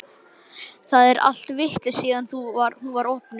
Það er allt vitlaust síðan hún var opnuð.